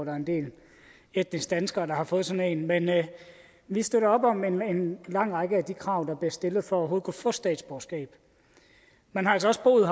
er en del etnisk danskere der har fået sådan en men vi støtter op om en lang række af de krav der bliver stillet for overhovedet at kunne få statsborgerskab man har altså også boet